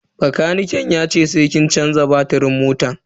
Bakaniken yace sai kin canza batirin motan.